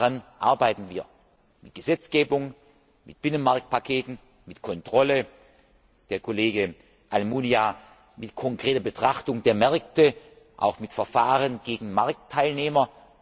Daran arbeiten wir mit Gesetzgebung, mit Binnenmarktpaketen, mit Kontrolle, der Kollege Almunia mit konkreter Betrachtung der Märkte, auch mit Verfahren gegen Marktteilnehmer.